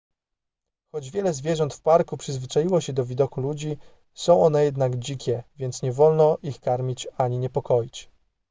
choć wiele zwierząt w parku przyzwyczaiło się do widoku ludzi są one jednak dzikie więc nie wolno ich karmić ani niepokoić